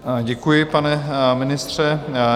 Děkuji, pane ministře.